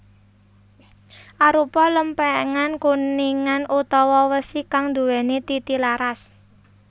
Arupa lèmpèngan kuningan utawa wesi kang nduwéni titilaras